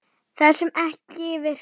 Það sem ekki virkar